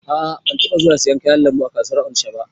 A'a ban taba zuwa siyan kayan lambu a kasuwar onisha ba